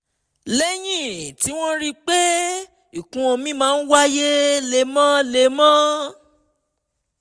lẹ́yìn tí wọ́n rí i pé ìkún omi máa ń wáyé lemọ́lemọ́